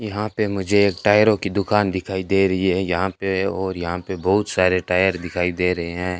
यहां पे मुझे एक टायरों की दुकान दिखाई दे रही है यहां पे और यहां पे बहुत सारे टायर दिखाई दे रहे है।